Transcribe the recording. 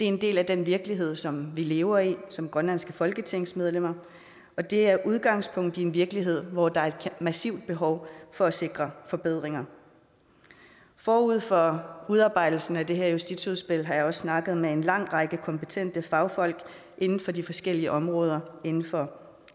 en del af den virkelighed som vi lever i som grønlandske folketingsmedlemmer og det er med udgangspunkt i en virkelighed hvor der er et massivt behov for at sikre forbedringer forud for udarbejdelsen af det her justitsudspil har jeg også snakket med en lang række kompetente fagfolk inden for de forskellige områder inden for